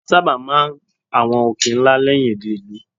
A sábà máa ń àwọn òkè ńlá lẹ́yìn odi ìlú.